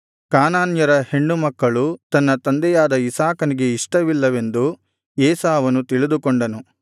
ಕಾನಾನ್ಯರ ಹೆಣ್ಣು ಮಕ್ಕಳು ತನ್ನ ತಂದೆಯಾದ ಇಸಾಕನಿಗೆ ಇಷ್ಟವಿಲ್ಲವೆಂದು ಏಸಾವನು ತಿಳಿದುಕೊಂಡನು